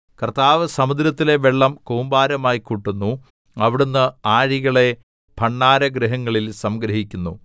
കർത്താവ് സമുദ്രത്തിലെ വെള്ളം കൂമ്പാരമായി കൂട്ടുന്നു അവിടുന്ന് ആഴികളെ ഭണ്ഡാരഗൃഹങ്ങളിൽ സംഗ്രഹിക്കുന്നു